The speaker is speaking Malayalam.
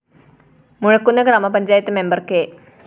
മുഴക്കുന്ന് ഗ്രാമപഞ്ചായത് മെമ്പർ കെ